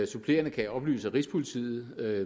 supplerende kan jeg oplyse at rigspolitiet med